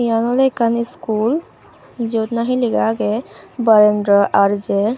eyan oley ekkan iscool jyot nahi lega agey barendra R_J.